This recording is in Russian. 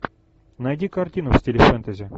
найди картину в стиле фэнтези